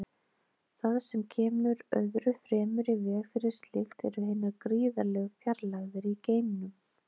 Það sem kemur öðru fremur í veg fyrir slíkt eru hinar gríðarlegu fjarlægðir í geimnum.